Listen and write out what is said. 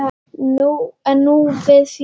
En nú vissi Jóra betur.